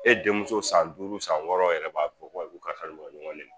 E denmuso san duuru san wɔɔrɔ yɛrɛ b'a fɔ k'u ni karisa bi ka ɲɔgɔn nɛnni